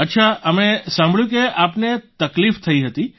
અચ્છા અમે સાંભળ્યું કે આપને તકલીફ થઈ હતી